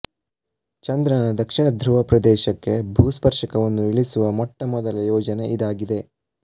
ಚಂದ್ರನ ದಕ್ಷಿಣ ಧ್ರುವ ಪ್ರದೇಶಕ್ಕೆ ಭೂಸ್ಪರ್ಶಕವನ್ನು ಇಳಿಸುವ ಮೊಟ್ಟ ಮೊದಲ ಯೋಜನೆ ಇದಾಗಿದೆ